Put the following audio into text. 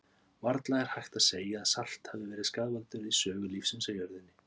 Varla er hægt að segja að salt hafi verið skaðvaldur í sögu lífsins á jörðinni.